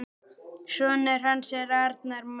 Sonur hans er Arnar Máni.